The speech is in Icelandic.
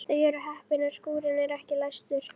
Þau eru heppin að skúrinn er ekki læstur.